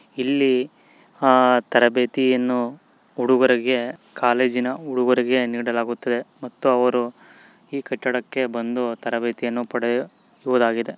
ಇಲ್ಲಿ ಅ ತರಬೇತಿಯನ್ನು ಹುಡುಗರಿಗೆ ಕಾಲೇಜಿನ ಹುಡುಗರಿಗೆ ನೀಡಲಾಗುತ್ತದೆ ಮತ್ತು ಅವರು ಈ ಕಟ್ಟಡಕ್ಕೆ ಬಂದು ತರಬೇತಿಯನ್ನು ಪಡೆಯುವದಾಗಿದೆ.